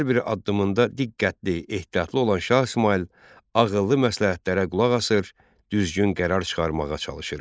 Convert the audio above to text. Hər bir addımında diqqətli, ehtiyatlı olan Şah İsmayıl ağıllı məsləhətlərə qulaq asır, düzgün qərar çıxarmağa çalışırmış.